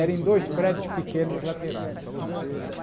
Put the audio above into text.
Eram dois prédios pequenos laterais. Está certo